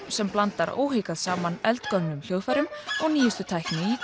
sem blandar óhikað saman eldgömlum hljóðfærum og nýjustu tækni í